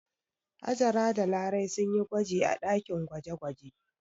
Hajara da Larai sun yi gwaji a ɗakin gwaje-gwaje.